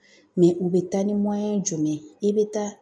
u bɛ taa ni joli ye i bɛ taa